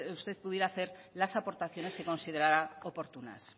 usted pudiera hacer las aportaciones que considerara oportunas